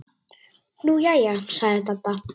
Nú jæja sagði Dadda.